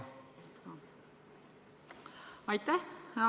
Aitäh!